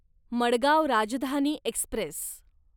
Madgaon Rajdhani Express